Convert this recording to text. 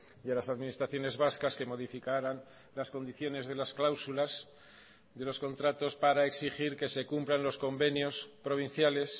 y a las administraciones vascas que modificaran las condiciones de las cláusulas de los contratos para exigir que se cumplan los convenios provinciales